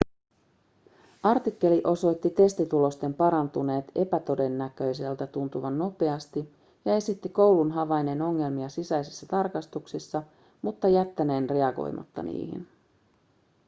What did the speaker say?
artikkeli osoitti testitulosten parantuneen epätodennäköiseltä tuntuvan nopeasti ja esitti koulun havainneen ongelmia sisäisissä tarkastuksissa mutta jättäneen reagoimatta niihin